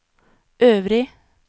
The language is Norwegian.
øvrig